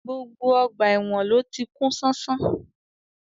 Gbogbo ọgbà èwọ̀n ló ti kún ṣánṣán